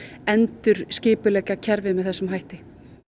endurskipuleggja kerfið með þessum hætti